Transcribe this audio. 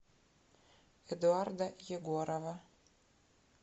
эдуарда егорова